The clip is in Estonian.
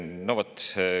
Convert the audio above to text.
No vot.